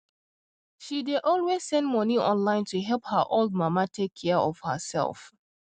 she dey always send money online to help her old mama take care of herself